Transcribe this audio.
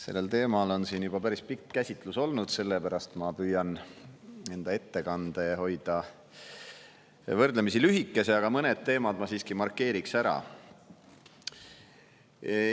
Sellel teemal on siin juba päris pikk käsitlus olnud, sellepärast ma püüan enda ettekande hoida võrdlemisi lühikese, aga mõned teemad ma siiski markeeriksin ära.